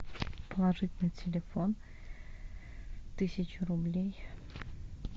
положить на телефон тысячу рублей